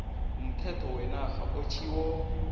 umthetho wenarha otjhiwo